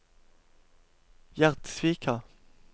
Gjerdsvika